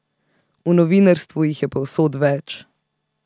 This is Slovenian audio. V novinarstvu jih je povsod več.